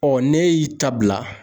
n'e y'i ta bila.